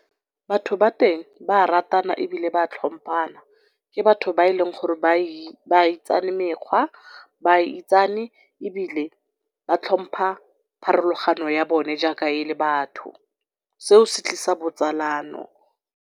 Batho ba teng ba ratana ebile ba tlhompana, ke batho ba e leng gore ba itsane mekgwa, ba itsane ebile ba tlhompha pharologano ya bone jaaka ele batho, seo se tlisa botsalano.